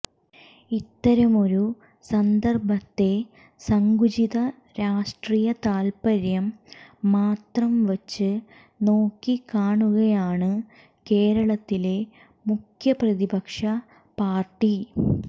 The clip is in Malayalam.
ഇത്തരമൊരു സന്ദര്ഭത്തെ സങ്കുചിത രാഷ്ട്രീയ താല്പ്പര്യം മാത്രംവച്ച് നോക്കിക്കാണുകയാണ് കേരളത്തിലെ മുഖ്യപ്രതിപക്ഷ പാര്ടി